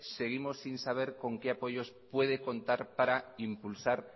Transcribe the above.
seguimos sin saber con qué apoyos puede contar para impulsar